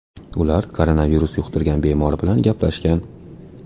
Ular koronavirus yuqtirgan bemor bilan gaplashgan.